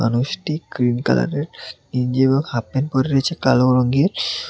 মানুষটি গ্রীন কালারের গেঞ্জি এবং হাফপ্যান্ট পরে রয়েছে কালো রঙ্গের।